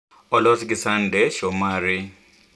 olos gi Sunday Shomari